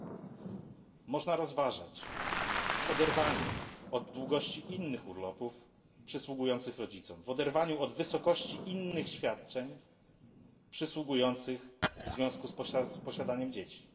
Czy można to rozważać w oderwaniu od długości innych urlopów przysługujących rodzicom, w oderwaniu od wysokości innych świadczeń przysługujących w związku z posiadaniem dzieci?